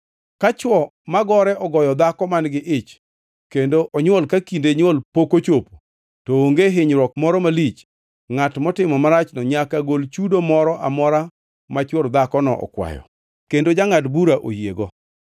“Ka chwo magore ogoyo dhako man-gi ich kendo onywol ka kinde nywol pok ochopo to onge hinyruok moro malich, ngʼat motimo marachno nyaka gol chudo moro amora ma chwor dhakono okwayo kendo jangʼad bura oyiego.